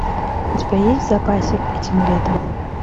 у тебя есть в запасе этим летом